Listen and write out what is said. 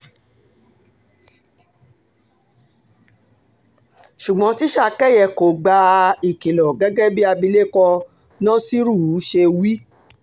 ṣùgbọ́n tíṣà kẹyẹ kò gba um ìkìlọ̀ gẹ́gẹ́ bí abilékọ nasiru um ṣe wí